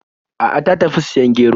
A'a, ta tafi siyan gero.